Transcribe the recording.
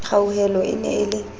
kgauhelo e ne e le